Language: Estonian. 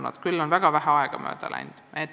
Sellest otsusest on küll väga vähe aega mööda läinud.